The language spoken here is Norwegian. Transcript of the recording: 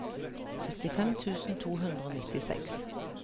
syttifem tusen to hundre og nittiseks